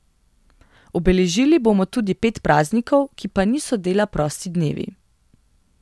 Obeležili bomo tudi pet praznikov, ki pa niso dela prosti dnevi.